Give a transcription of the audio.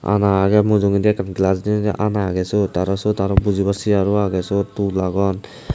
ana agey mujogondi ekan glass deny ana agey seyot aro seyot bujibar chair agey seyot tool agon.